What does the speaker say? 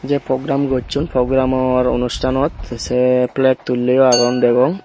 jei pogram gosson pogramor unustanot tey se pleg tulleyo agon degong.